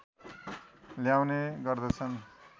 ल्याउने गर्दछन्